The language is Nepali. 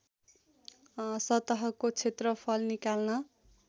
सतहको क्षेत्रफल निकाल्न